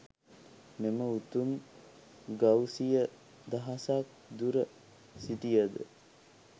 මෙම උතුමන් ගව් සිය දහසක් දුර සිටියද